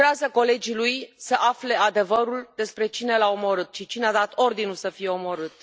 Colegii lui lucrează să afle adevărul despre cine l a omorât și cine a dat ordinul să fie omorât.